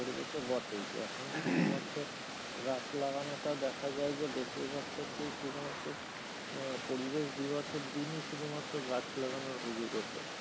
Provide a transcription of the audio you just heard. পরবে তো বটে এখন শুধুমাত্র গাছ লাগানো টা দেখা যায় যে বেশিরভাগ ক্ষেত্রেই শুধুমাত্র আহ পরিবেশ দিবসের দিনই শুধুমাত্র গাছ লাগানোর হুজুক উঠে,